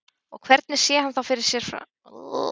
Og hvernig sé hann þá fyrir sér framhaldið?